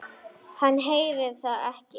Hann heyrir það ekki.